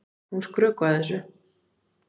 Hún skrökvaði þessu.